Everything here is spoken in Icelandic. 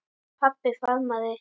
Pabbi faðmaði